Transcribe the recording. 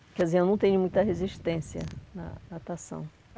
Quer dizer, eu não tenho muita resistência na natação.